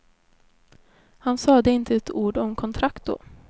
Han sade inte ett ord om kontrakt då.